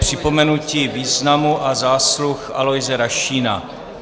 Připomenutí významu a zásluh Aloise Rašína